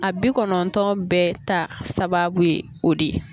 A bi kɔnɔntɔn bɛɛ ta sababu ye o de ye.